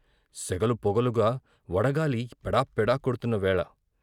సెగలు పొగలుగా వడగాలి ఏడాపెడా కొడ్తున్న వేళ.